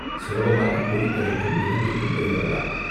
சுலபமாகத் கோடிக்கரைக்கும் இலங்கைக்கும் போய் வரலாம்.